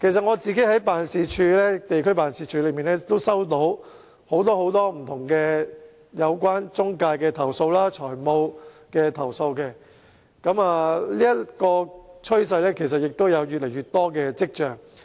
我在地區辦事處也收到很多不同有關中介和財務的投訴，這種趨勢亦有越趨急劇的跡象。